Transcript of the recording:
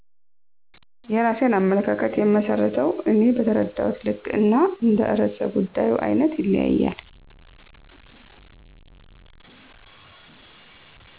የራሴን አመለካከት የምመስርተው እኔ በተረዳሁት ልክ እና እንደ ርዕሰ ጉዳዩ አይነት ይለያያል